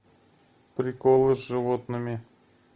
приколы с животными